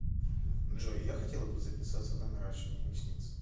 джой я хотела бы записаться на наращивание ресниц